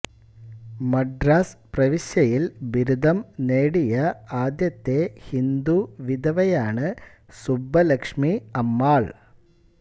മദ്രാസ് പ്രവിശ്യയിൽ ബിരുദം നേടിയ ആദ്യത്തെ ഹിന്ദു വിധവയാണ് സുബ്ബലക്ഷ്മി അമ്മാൾ